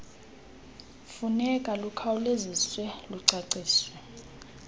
funeka lukhawuleziswe lwacaciswa